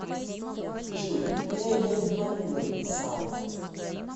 джой ты опять обманула небесао